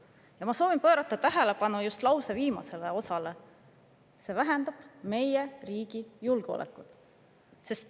Ma soovin tähelepanu just lause viimasele osale: see vähendab meie riigi julgeolekut.